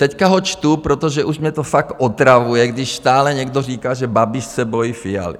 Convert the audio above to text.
Teď ho čtu, protože už mě to fakt otravuje, když stále někdo říká, že Babiš se bojí Fialy.